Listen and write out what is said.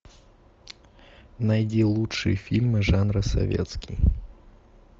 найди лучшие фильмы жанра советский